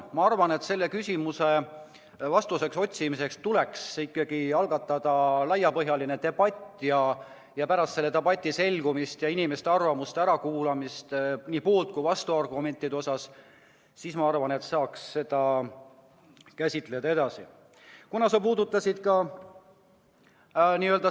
Ma arvan, et sellele küsimusele vastuse otsimiseks tuleks algatada laiapõhjaline debatt ja pärast selle debati tulemuste selgumist, inimeste arvamuste ärakuulamist, nii poolt- kui vastuargumentide arvestamist saaks seda edasi käsitleda.